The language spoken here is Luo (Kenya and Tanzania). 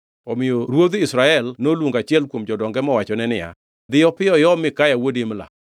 Omiyo ruodh Israel noluongo achiel kuom jodonge mowachone niya, “Dhi piyo iom Mikaya wuod Imla.”